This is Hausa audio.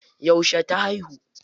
Yauce ta haihu?